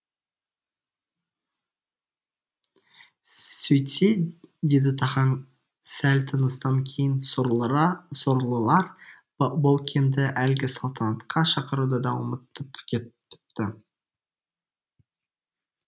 сөйтсе деді тахаң сәл тыныстан кейін сорлылар баукенді әлгі салтанатқа шақыруды да ұмытып кетіпті